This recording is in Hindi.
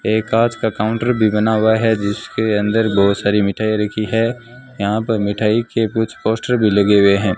एक कांच का काउंटर भी बना हुआ है जिसके अंदर बहुत सारी मिठाईया रखी है यहां पर मिठाई के कुछ पोस्टर भी लगे हुए हैं।